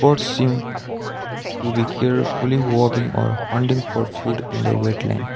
forcing to be carefully walking or hunting for food in the wetland.